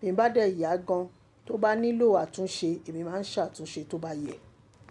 Bí mo bá dẹ̀ yá gan, tó bá nílò àtúnṣe, èmi máa ń ṣàtúnṣe tó bá yẹ.